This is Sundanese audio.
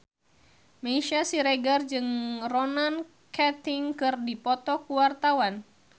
Meisya Siregar jeung Ronan Keating keur dipoto ku wartawan